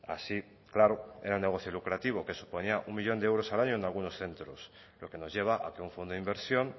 así claro era un negocio lucrativo que suponía un millón de euros al año en algunos centros lo que nos lleva a que un fondo de inversión